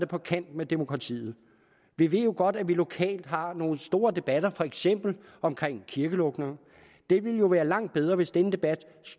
på kant med demokratiet vi ved jo godt at vi lokalt har nogle store debatter for eksempel om kirkelukninger det ville jo være langt bedre hvis denne debat